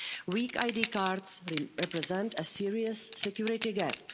Weak ID cards represent a serious security gap.